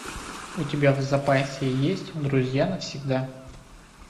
у тебя в запасе есть друзья навсегда